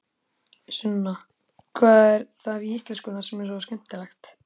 Sunna: Hvað er það við íslenskuna sem er svona skemmtilegt?